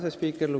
Hea asespiiker!